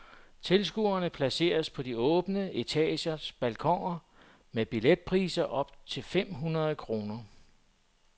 Tilskuerne placeres på de åbne etagers balkoner med billetpriser op til fem hundrede kroner.